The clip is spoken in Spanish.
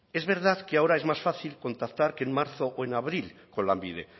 es verdad que ahora es más fácil contactar en marzo o en abril con lanbide